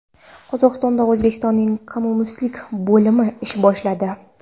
Qozog‘istonda O‘zbekistonning konsullik bo‘limi ish boshladi.